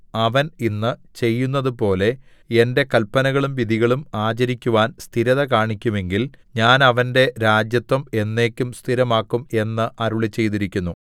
അവൻ ഇന്ന് ചെയ്യുന്നതുപോലെ എന്റെ കല്പനകളും വിധികളും ആചരിക്കുവാൻ സ്ഥിരത കാണിക്കുമെങ്കിൽ ഞാൻ അവന്റെ രാജത്വം എന്നേക്കും സ്ഥിരമാക്കും എന്നു അരുളിച്ചെയ്തിരിക്കുന്നു